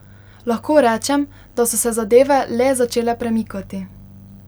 Lahko rečem, da so se zadeve le začele premikati.